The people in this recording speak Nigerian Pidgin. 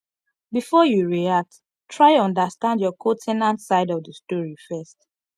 before you react try understand your co ten ant side of the story first